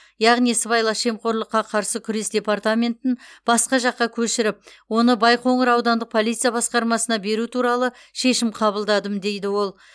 яғни сыбайлас жемқорлыққа қарсы күрес департаментін басқа жаққа көшіріп оны байқоңыр аудандық полиция басқармасына беру туралы шешім қабылдадым дейді ол